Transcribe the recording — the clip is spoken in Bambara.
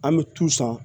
An bɛ tu san